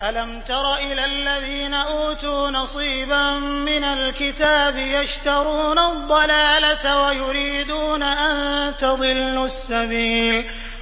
أَلَمْ تَرَ إِلَى الَّذِينَ أُوتُوا نَصِيبًا مِّنَ الْكِتَابِ يَشْتَرُونَ الضَّلَالَةَ وَيُرِيدُونَ أَن تَضِلُّوا السَّبِيلَ